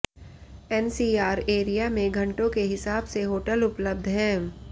NCR area में घंटों के हिसाब से होटल उपलब्ध हैं